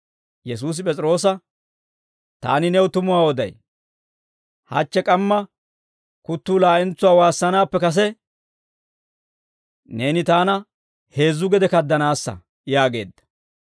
Yesuusi P'es'iroosa, «Taani new tumuwaa oday; hachche k'amma kuttuu laa'entsuwaa waassanaappe kase, neeni taana heezzu gede kaddanaassa» yaageedda.